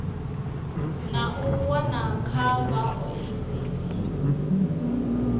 na u wana kha vhaoisisi